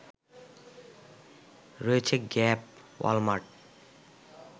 রয়েছে Gap, Walmart